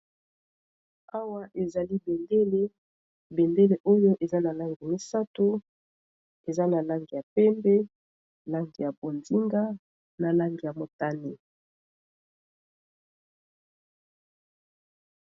Awa ezali bendele, bendele oyo eza na langi misatu eza na langi ya pembe langi ya bonzinga na langi ya motani.